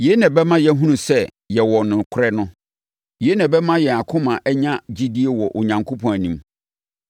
Yei na ɛbɛma yɛahunu sɛ yɛwɔ nokorɛ no. Yei na ɛbɛma yɛn akoma anya gyidie wɔ Onyankopɔn anim.